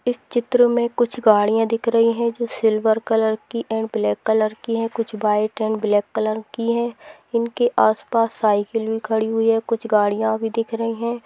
इस चित्र मे कुछ गाड़ियां दिख रहीं है जो सिल्वर कलर की एण्ड ब्लैक कलर की है जो व्हाइट एण्ड ब्लैक कलर की है उनके आस-पास साइकिल खड़ी है कुछ गाड़ियां भी दिख रही है।